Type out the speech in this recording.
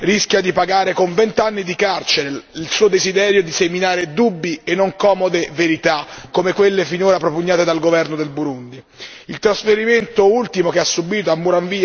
Il nostro attivista, il signor Rugurika, rischia di pagare con vent'anni di carcere il suo desiderio di seminare dubbi e non comode verità, come quelle finora propugnate dal governo del Burundi.